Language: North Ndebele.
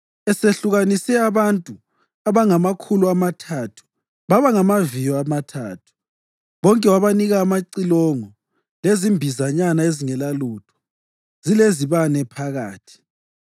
Esehlukanise abantu abangamakhulu amathathu baba ngamaviyo amathathu, bonke wabanika amacilongo lezimbizanyana ezingelalutho, zilezibane phakathi.